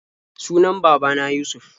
Sunan baba na Yusuf.